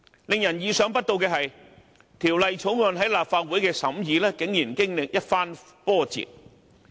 令人意想不到的是，《條例草案》在立法會的審議竟然經歷一番波折。